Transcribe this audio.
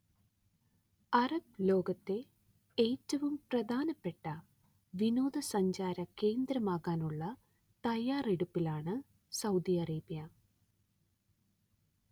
Arab ലോകത്തെ ഏറ്റവും പ്രധാനപ്പെട്ട വിനോദ സഞ്ചാര കേന്ദ്രമാകാനുള്ള തയാറെടുപ്പിലാണ് സൗദി അറേബ്യ